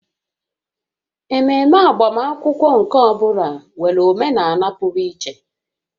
Ememe agbamakwụkwọ nke ọ bụla nwere omenala pụrụ iche